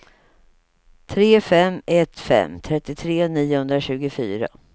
tre fem ett fem trettiotre niohundratjugofyra